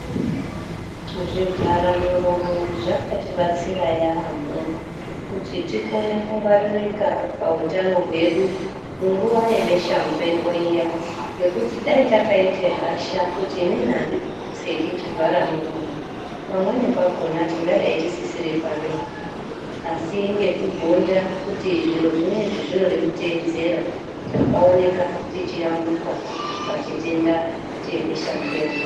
Zvivhara muromo zvakatibatsira yaamho kuti tikone kungwaririka pautano hwedu munguwa yebesha mupengo iya ngekuti dai takaite hasha kuti inini andipfeki chivhara muromo pamweni pakhona tingadai tisisiri panopi asi ngekugonda kuti zviro zvinezvi zvinoda kuteedzera takaoneka tichiyambuka pachitenda chebesha mupengo.